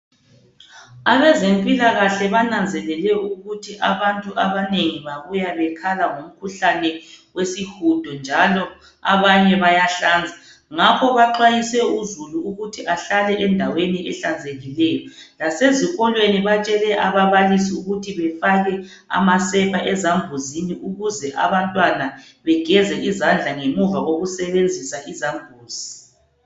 Abezempilakahle bananzelele ukuthi abantu abanengi babuya bekhala ngomkhuhlane wesihudo njalo abanye bayahlanza ngakho baxwayise uzulu ukuthi ahlale endaweni ezihlanzekileyo ngaso sonke isikhathi lasezikolweni batshele ababalisi ukuthi bafake amasepa ezambuzini ukuze abantwana begeze izandla ngemuva kokusebenzisa izambuzi.